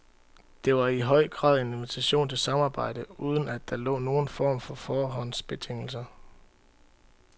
Det var i høj grad en invitation til samarbejde, uden at der lå nogen form for forhåndsbetingelser.